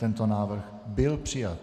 Tento návrh byl přijat.